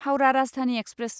Howrah Rajdhani express